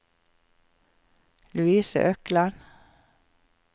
Louise Økland